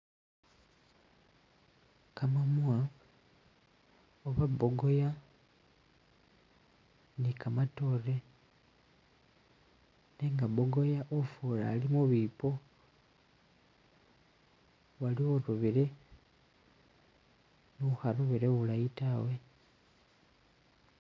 Kamamwa oba' mbogoya ni' kamatore nega mbogoya ufura ali'mubipo waliwo urobile ni'ukharobile bulayiii tawe